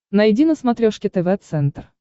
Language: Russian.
найди на смотрешке тв центр